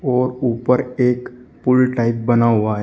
और ऊपर एक पुल टाइप बना हुआ है।